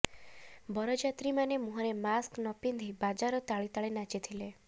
ବରଯାତ୍ରୀମାନେ ମୁହଁରେ ମାସ୍କ ନପିନ୍ଧି ବାଜାର ତାଳେ ତାଳେ ନାଚିଥିଲେ